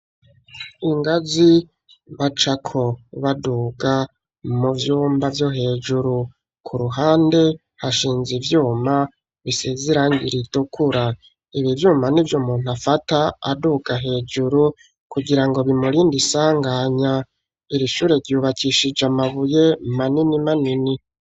Ingazi bacako, baduga mu vyumba vyo hejuru; ku ruhande, hashinze ivyuma, bisize irangi ritukura; ibi vyuma, nivyo umuntu afata aduga hejuru, kugira ngo bimurinde isanganya; iri shure, ryubakishije amabuye, manini manini.